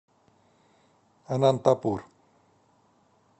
анантапур